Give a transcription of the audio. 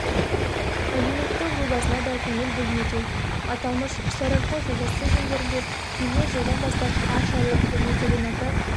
әлеуметтік жобасына да көңіл бөлінуде аталмыш сарыарқа жобасы шеңберінде келер жылдан бастап аршалы және целиноград